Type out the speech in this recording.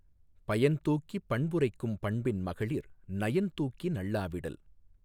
பயன்தூக்கிப் பண்புரைக்கும் பண்பின் மகளிர் நயன்தூக்கி நள்ளா விடல்